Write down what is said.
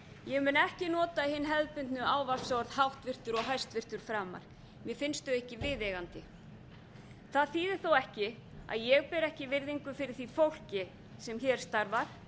ég mun ekki nota hin hefðbundnu ávarpsorð háttvirtur og hæstvirtur framar mér finnst þau ekki viðeigandi það þýðir þó ekki að ég beri ekki virðingu fyrir því fólki sem hér starfar